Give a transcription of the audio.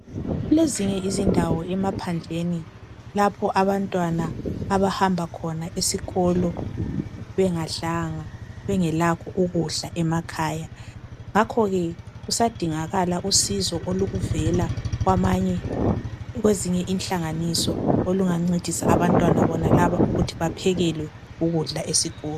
Kulezinye izindawo emaphandleni lapho abantwana abahamba khona esikolo bengadlanga ,bengelakho ukudla e wasmakhaya. Ngakho ke kusadingakala usizo oluvela kwezinye inhlanganiso olungancedisa abantwana bonalaba ukuthi baphekelwe ukudla esikolo.